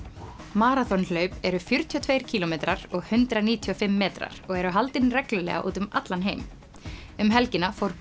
maraþonhlaup eru fjörutíu og tveir kílómetrar og hundrað níutíu og fimm metrar og eru haldin reglulega úti um allan heim um helgina fór